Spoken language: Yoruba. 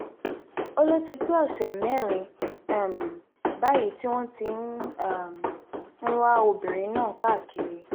ó lọ ti pé ọ̀sẹ̀ mẹ́rin um báyìí tí wọ́n ti um ń wá obìnrin náà káàkiri